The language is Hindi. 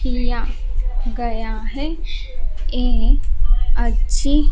किया गया है ये अच्छी--